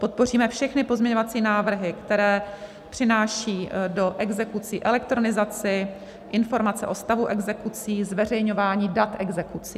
Podpoříme všechny pozměňovací návrhy, které přináší do exekucí elektronizaci, informace o stavu exekucí, zveřejňování dat exekucí.